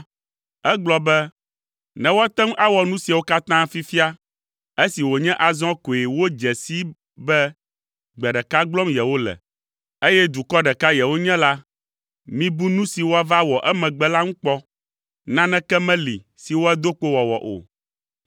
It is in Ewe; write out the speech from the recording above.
egblɔ be, “Ne woate ŋu awɔ nu siawo katã fifia, esi wònye azɔ koe wodze sii be gbe ɖeka gblɔm yewole, eye dukɔ ɖeka yewonye la, mibu nu si woava wɔ emegbe la ŋu kpɔ! Naneke meli si woado kpo wɔwɔ o.